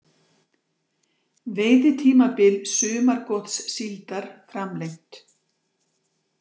Veiðitímabil sumargotssíldar framlengt